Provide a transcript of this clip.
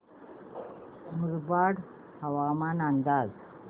मुरबाड हवामान अंदाज